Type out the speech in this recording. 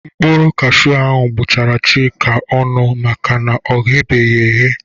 Mkpụrụ kashiu ahụ gbụchara Chika ọnụ maka na ọ gheghị eghe.